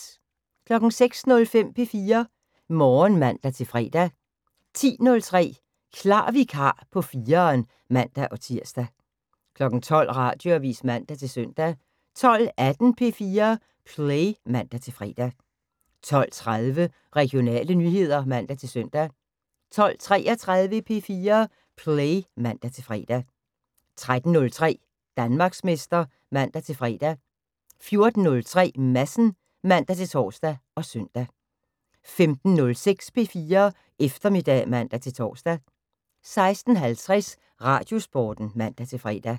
06:05: P4 Morgen (man-fre) 10:03: Klar vikar på 4'eren (man-tir) 12:00: Radioavis (man-søn) 12:18: P4 Play (man-fre) 12:30: Regionale nyheder (man-søn) 12:33: P4 Play (man-fre) 13:03: Danmarksmester (man-fre) 14:03: Madsen (man-tor og søn) 15:06: P4 Eftermiddag (man-tor) 16:50: Radiosporten (man-fre)